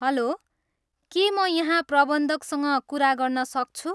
हलो, के म यहाँ प्रबन्धकसँग कुरा गर्न सक्छु?